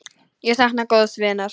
Ég sakna góðs vinar.